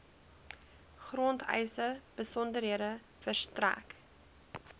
grondeise besonderhede verstrek